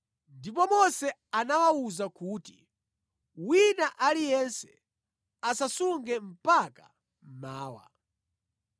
Ndipo Mose anawawuza kuti, “Wina aliyense asasunge mpaka mmawa.”